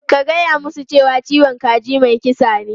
Ka gaya musu cewa "ciwon kaji mai kisa ne!".